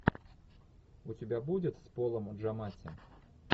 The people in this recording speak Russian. у тебя будет с полом джаматти